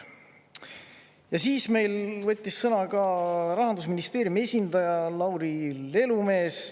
Ja siis meil võttis sõna ka Rahandusministeeriumi esindaja Lauri Lelumees.